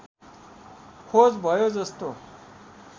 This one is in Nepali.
खोज भयो जस्तो